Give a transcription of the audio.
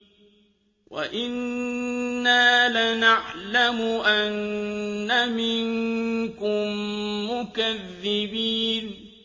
وَإِنَّا لَنَعْلَمُ أَنَّ مِنكُم مُّكَذِّبِينَ